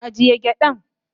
agiye gyadan.